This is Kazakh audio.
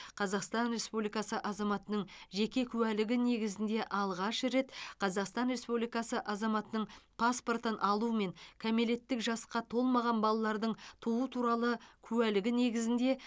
қазақстан республикасы азаматының жеке куәлігі негізінде алғаш рет қазақстан республикасы азаматының паспортын алумен кәмелеттік жасқа толмаған балалардың туу туралы куәлігі негізінде